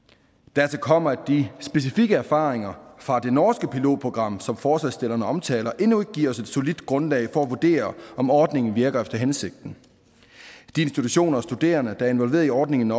dertil kommer at de specifikke erfaringer fra det norske pilotprogram som forslagsstillerne omtaler endnu ikke giver os et solidt grundlag for at vurdere om ordningen virker efter hensigten de institutioner og studerende der er involveret i ordningen